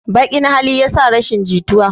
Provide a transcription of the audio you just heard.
Baƙn hali yasa rashin jituwa